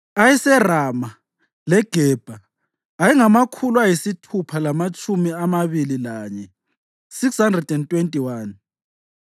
ayeseRama leGebha ayengamakhulu ayisithupha lamatshumi amabili lanye (621),